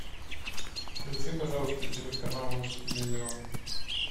включи пожалуйста телеканал русский иллюзион